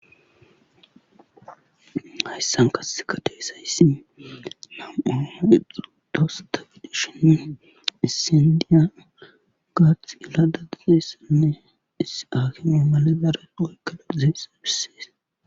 Hayssan kasse kateesayssi na'ooa ixuru doossa tagidishin issendiya gaath iladadazeyssanne iss aaki ma male dareqoykkaladizeessa bissees